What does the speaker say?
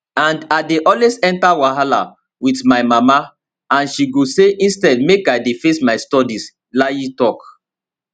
and i dey always enta wahala wit my mama and she go say instead make i dey face my studies layi tok